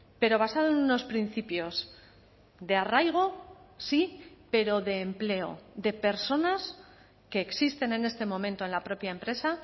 pero basado en unos principios de arraigo sí pero de empleo de personas que existen en este momento en la propia empresa